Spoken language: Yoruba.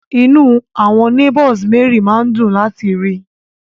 Inú àwọn neigbours Mary máa ń dùn láti rí i